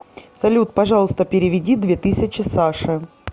салют пожалуйста переведи две тысячи саше